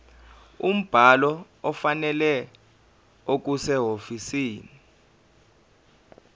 umbhalo ofanele okusehhovisi